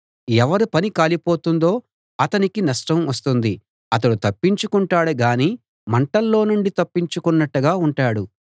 ఎవరి పని కాలిపోతుందో అతనికి నష్టం వస్తుంది అతడు తప్పించుకుంటాడు గానీ మంటల్లో నుండి తప్పించుకొన్నట్టుగా ఉంటాడు